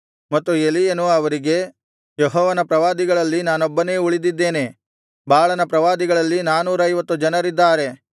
ಮತ್ತು ಎಲೀಯನು ಅವರಿಗೆ ಯೆಹೋವನ ಪ್ರವಾದಿಗಳಲ್ಲಿ ನಾನೊಬ್ಬನೇ ಉಳಿದಿದ್ದೇನೆ ಬಾಳನ ಪ್ರವಾದಿಗಳಲ್ಲಿ ನಾನೂರೈವತ್ತು ಜನರಿದ್ದಾರೆ